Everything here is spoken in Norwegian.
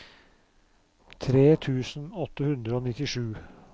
tre tusen åtte hundre og nittisju